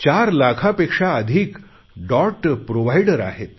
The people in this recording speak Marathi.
चार लाखापेक्षा अधिक डॉट प्रोव्हाइडर आहेत